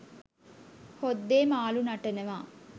හොද්දේ මාළු නටනවා